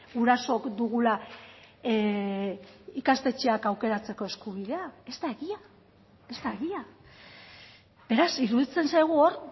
gurasook dugula ikastetxeak aukeratzeko eskubidea ez da egia ez da egia beraz iruditzen zaigu hor